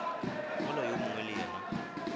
mola yo mongwe le yena